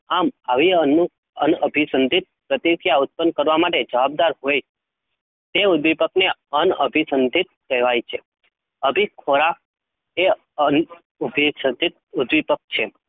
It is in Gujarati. આમ આવી અન્ન અન્ન અભિસંધિત પ્રતિક્રિયા ઉત્પન્ન માટે જવાબદાર હોય તે ઉદ્દીપકને અન્ન અભિસંધિત કહેવાય છે. અભિ ખોરાક એ અન્ન અભિસંધિત ઉદ્દીપક છે